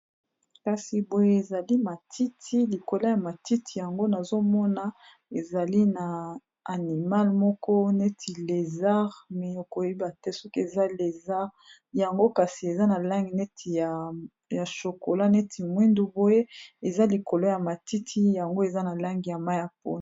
Kasi boye ezali matiti likolo ya matiti yango nazomona ezali na animale moko neti lésare me okoyeba te soki eza lésare yango kasi eza na lange neti ya chokola, neti mwindu, boye eza likolo ya matiti yango eza na lange ya ma ya poe.